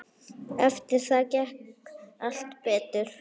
Eftir það gekk allt betur.